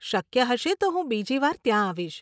શક્ય હશે તો હું બીજી વાર ત્યાં આવીશ.